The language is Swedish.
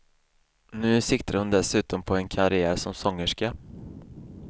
Nu siktar hon dessutom på en karriär som sångerska.